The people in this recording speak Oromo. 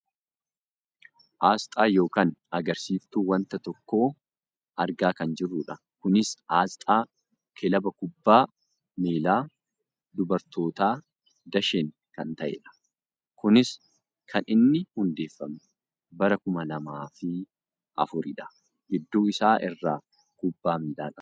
aasxaa yookaan agarsiiftu wanta tokkoo argaa kan jirrudha. kunis aasxaa kilaba kubbaa miilaa dubartootaa dashen kan ta'edha. kunis kan inni hundeeffame bara kuma lamaaf afuridha. gidduu isaa irraa kubbaa miilaa qaba.